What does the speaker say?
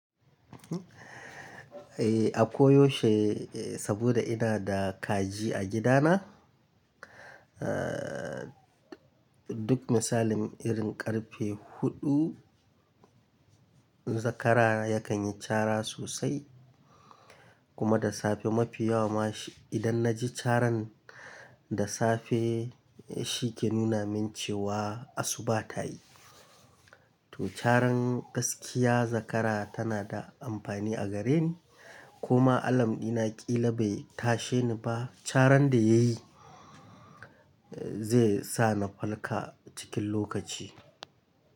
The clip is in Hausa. Eh, a koyaushe saboda ina da kaji a gidana. Aa duk misalin irin karfe huɗu zakara yakan yi cara sosai kuma da safe mafi yawa ma shi idan na ji caran da safe shi ke nuna min cewa asuba ta yi. To caran gaskiya zakara tana da amfani a gareni kuma alam Dina ƙila bai tashe ni ba caran da yayi zai sa na falka cikin lokaci.